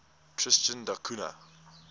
tristan da cunha